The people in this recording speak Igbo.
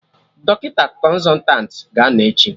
Dọkịta Kọnsọtanti ga-anọ echi